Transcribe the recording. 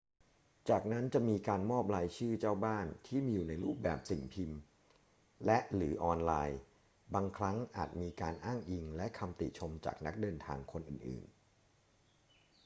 จากนั้นจะมีการมอบรายชื่อเจ้าบ้านที่มีอยู่ในรูปแบบสิ่งพิมพ์และ/หรือออนไลน์ บางครั้งอาจมีการอ้างอิงและคำติชมจากนักเดินทางคนอื่น ๆ